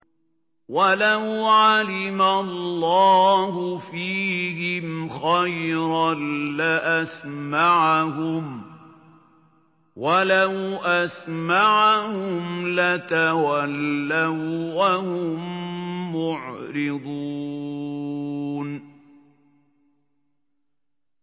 وَلَوْ عَلِمَ اللَّهُ فِيهِمْ خَيْرًا لَّأَسْمَعَهُمْ ۖ وَلَوْ أَسْمَعَهُمْ لَتَوَلَّوا وَّهُم مُّعْرِضُونَ